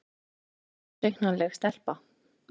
Þetta er óútreiknanleg stelpa.